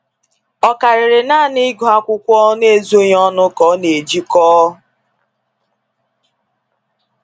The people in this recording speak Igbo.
O karịrị naanị ịgụ akwụkwọ n’ezoghị ọnụ ka ọ na ejikọ.